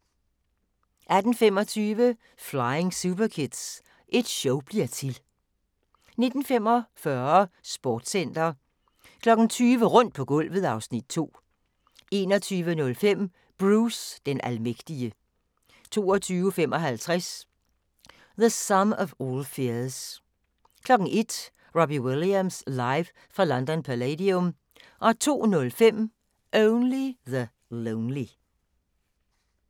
18:25: Flying Superkids – et show bliver til! 19:45: Sportscenter 20:00: Rundt på gulvet (Afs. 2) 21:05: Bruce den almægtige 22:55: The Sum of all Fears 01:00: Robbie Williams live fra London Palladium 02:05: Only the lonely